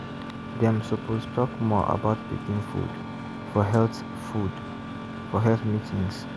dem suppose talk more about pikin food for health food for health meetings.